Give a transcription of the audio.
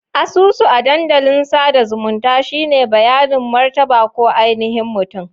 Asusu a dandalin sada zumunta shine bayanin martaba ko ainihin mutum.